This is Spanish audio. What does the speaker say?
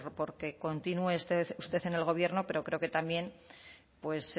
por que continúe usted en el gobierno pero creo que también pues